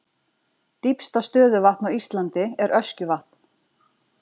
Dýpsta stöðuvatn á Íslandi er Öskjuvatn.